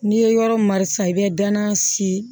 N'i ye yɔrɔ marisi i bɛ danaya si